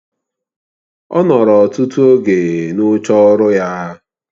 Ọ nọrọ ọtụtụ oge n'oche ọrụ ya.